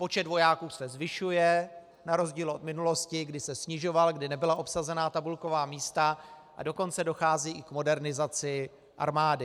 Počet vojáků se zvyšuje na rozdíl od minulosti, kdy se snižoval, kdy nebyla obsazena tabulková místa, a dokonce dochází i k modernizaci armády.